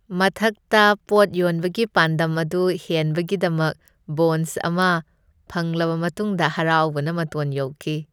ꯊꯕꯛꯇ ꯄꯣꯠ ꯌꯣꯟꯕꯒꯤ ꯄꯥꯟꯗꯝ ꯑꯗꯨ ꯍꯦꯟꯕꯒꯤꯗꯃꯛ ꯕꯣꯟꯁ ꯑꯃ ꯐꯪꯂꯕ ꯃꯇꯨꯡꯗ ꯍꯔꯥꯎꯕꯅ ꯃꯇꯣꯟ ꯌꯧꯈꯤ꯫